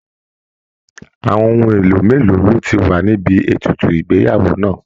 Àwọn ohun èlò mélòó ló ti wà níbi ètùtù ìgbéyàwó náà?